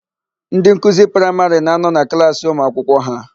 Ndị nkuzi praịmarị na-anọ na klaasị ụmụakwụkwọ ha.